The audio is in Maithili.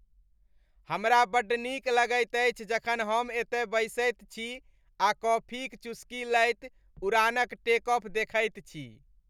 हमरा बड्ड नीक लगैत अछि जखन हम एतय बैसैत छी आ कॉफी क चुस्की लैत उड़ानक टेक ऑफ देखैत छी।